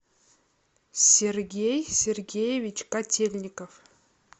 сергей сергеевич котельников